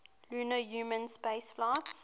lunar human spaceflights